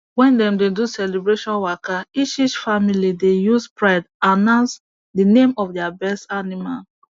when dem dey do celebration waka each each family dey use pride announce the name of their best animal